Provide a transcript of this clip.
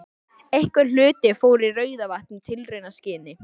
Einhver hluti fór í Rauðavatn í tilraunaskyni.